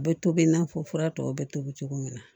A bɛ tobi i n'a fɔ fura tɔw bɛ tobi cogo min na